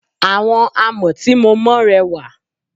Àwọn àmọ́ tí mo mọ rẹwà.